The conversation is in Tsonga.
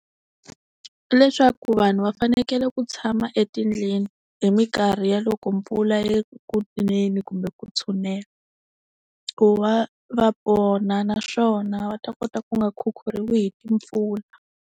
Leswaku vanhu va fanekele ku tshama etindlwini hi minkarhi ya loko mpfula yi ri ku neni kumbe ku tshunela. Ku va va pona naswona va ta kota ku nga khukhuriwi hi timpfula.